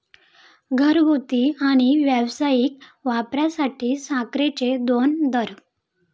घरगुती आणि व्यावसायिक वापरासाठी साखरेचे दोन दर